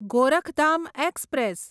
Gorakhdham express